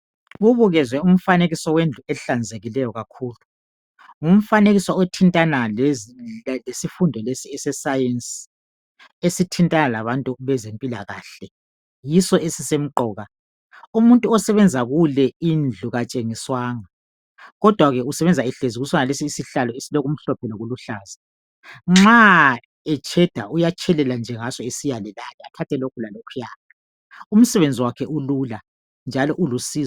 Kubukezwe umfanekiso wendlu ehlanzekileyo kakhulu. Ngumfanekiso othintana lesifundo lesi eseSayensi esithintana labantu bempilakahle yiso esisenqoka, umuntu omsebenza kuleyo indlu katshengiswanga kodwa ke usebenza ehlezi kusonaleso isihlalo esilokumhlophe lokuluhlaza nxa etsheda uyatshelela esiyale lale athathe lokhu lalokhufuyana umsebenzi wakhe ulula njalo ulusizo.